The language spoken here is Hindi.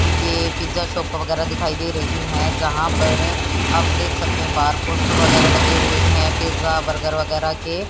ये पिज़्ज़ा शॉप वगैरह दिखाई दे रही है जहां पर आप देख सकते हैं बाहर पोस्टर वगैरह लगे हुए हैं पिज्जा बर्गर वगैरह के।